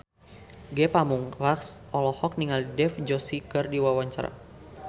Ge Pamungkas olohok ningali Dev Joshi keur diwawancara